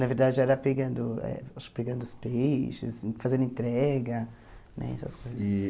Na verdade, era pegando eh acho pegando os peixes, fazendo entrega, né essas coisas. E